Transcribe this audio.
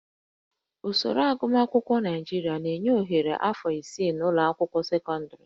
Usoro agụmakwụkwọ Naịjirịa na-enye ohere afọ isii n'ụlọ akwụkwọ sekọndịrị